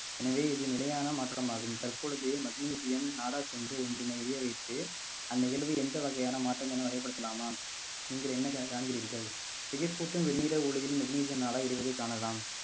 எனவே இது நிலையான மாற்றமாகும் தற்பொழுது magnesium நாடார் சந்து ஒன்றினையே வைத்து அந்த நிகழ்வில் எந்த வகையான மாற்றம் என வகைப்படுத்தலாமா நீங்கள் என்ன காண்~ காண்கிறீர்கள் திகைப் பூட்டும் வெண்ணிற உலகில் magnesium நாடா எரிவதைக் காணலாம்